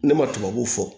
Ne ma tubabuw fɔ